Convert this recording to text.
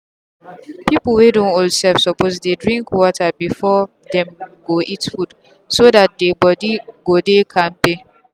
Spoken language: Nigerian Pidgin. people wey don old small self suppose dey drink water before them go eat food so that dey body go dey kampe.